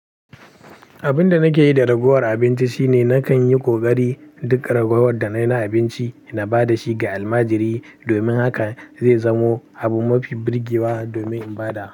Abin da nake yi da ragowar abinci shine nakan yi ƙoƙari duk ragowar da na yi na abinci na ba da shi ga almajiri. Domin haka zai zamo abu mafi birgewa domin in ba da.